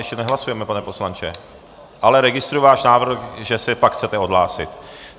Ještě nehlasujeme, pane poslanče, ale registruji váš návrh, že se pak chcete odhlásit.